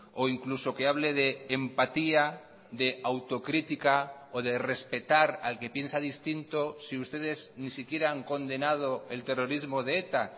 o incluso que hable de empatía de autocrítica o de respetar al que piensa distinto si ustedes ni siquiera han condenado el terrorismo de eta